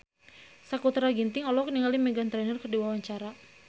Sakutra Ginting olohok ningali Meghan Trainor keur diwawancara